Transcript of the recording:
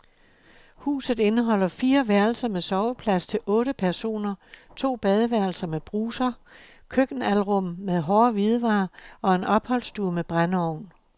Huset indeholder fire værelser med soveplads til otte personer, to badeværelser med bruser, køkkenalrum med hårde hvidevarer og en opholdsstue med brændeovn.